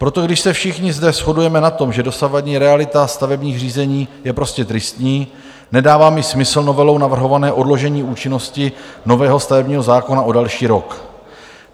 Proto, když se všichni zde shodujeme na tom, že dosavadní realita stavebních řízení je prostě tristní, nedává mi smysl novelou navrhované odložení účinnosti nového stavebního zákona o další rok.